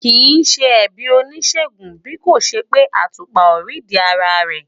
Kì í ṣe ẹ̀bi oníṣègùn bí kò ṣe pé àtùpà ò rídìí ara rẹ̀.